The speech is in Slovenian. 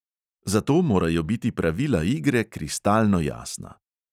Zato morajo biti pravila igre kristalno jasna.